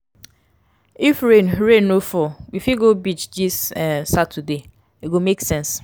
if rain rain no fall we fit go beach dis um saturday e go make sense.